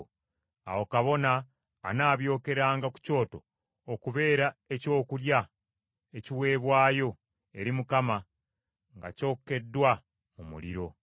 Awo kabona anaabyokeranga ku kyoto okubeera ekyokulya ekiweebwayo eri Mukama nga kyokeddwa mu muliro.